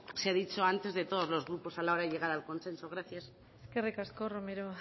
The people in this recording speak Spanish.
se ha dicho antes de todos los grupos a la hora de llegar al consenso gracias eskerrik asko romero